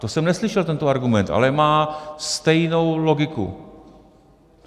To jsem neslyšel, tento argument, ale má stejnou logiku.